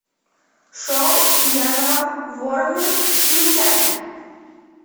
шоу пьяного ворона включай